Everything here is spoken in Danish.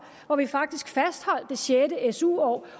hvori vi faktisk fastholdt det sjette su år